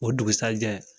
O dugusɛjɛ